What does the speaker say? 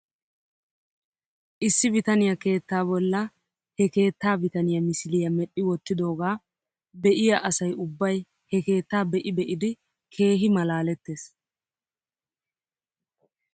Issi bitaniyaa keettaa bolla he keettaa bitaniyaa misiliyaa medhdhi wottidoogaa be'iyaa asay ubbay he keettaa be'i be'idi keehi malaalettes .